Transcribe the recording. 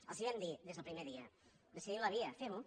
els ho vam dir des del primer dia decidim la via femho